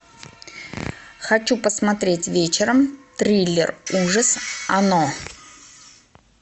хочу посмотреть вечером триллер ужас оно